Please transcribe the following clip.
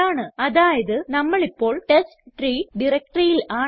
അതായത് നമ്മൾ ഇപ്പോൾ ടെസ്റ്റ്രീ directoryയിൽ ആണ്